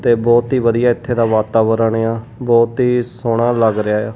ਤੇ ਬਹੁਤ ਹੀ ਵਧੀਆ ਇੱਥੇ ਦਾ ਵਾਤਾਵਰਣ ਆ ਬਹੁਤ ਹੀ ਸੋਹਣਾ ਲੱਗ ਰਿਹਾ ਆ।